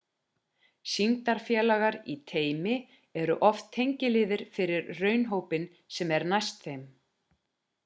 sýndarfélagar í teymi eru oft tengiliðir fyrir raunhópinn sem er næst þeim